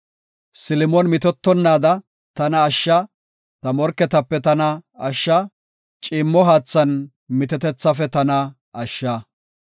Silimon mitettonnaada tana ashsha; ta morketape tana ashsha, ciimmo haathan mitetethafe tana ashsha.